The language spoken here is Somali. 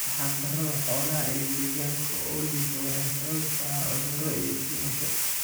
Arxan darada xoolaha iyo deegaanka oo liita waxay sababi karaan cuduro iyo dhimasho.